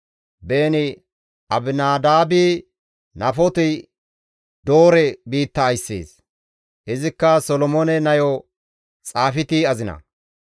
Beeni-Abinadaabi Naafoti-Doore biitta ayssees; izikka Solomoone nayo Xaafiti azina.